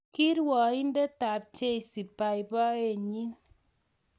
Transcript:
ki rwoindetab jeshi babaenyin.